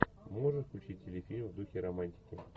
можешь включить телефильм в духе романтики